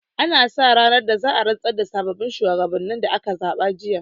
An sa ranar da za'a rantsar da sabbin shuwagabannin da aka zaɓa jiya